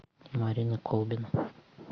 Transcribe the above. марина колбина